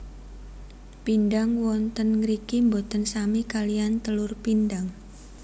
Pindang wonten ngriki boten sami kaliyan telur pindang